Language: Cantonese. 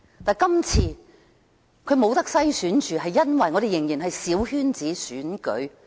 但是，今次她仍不能被篩選，因為香港仍然是小圈子選舉。